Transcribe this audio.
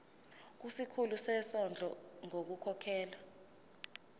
kusikhulu sezondlo ngokukhokhela